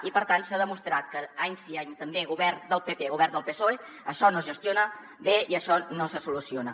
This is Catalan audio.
i per tant s’ha demostrat que any sí any també govern del pp o govern del psoe això no es gestiona bé i això no se soluciona